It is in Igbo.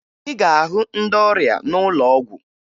Ị ga-ahụ ndị ọrịa n'ụlọ ọgwụ